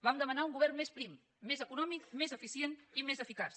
vam demanar un govern més prim més econòmic més eficient i més eficaç